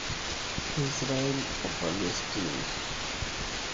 Israel o Palestina